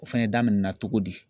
O fɛnɛ daminɛna togo di ?